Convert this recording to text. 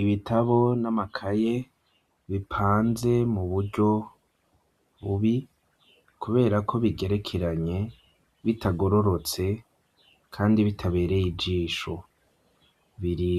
Ibitabo namakaye bipanze muburyo bubi kuberako bigerekeranye bitagororotse kandi bitabereye izisho biri